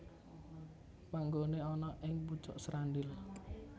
Panggoné ana ing pucuk Srandil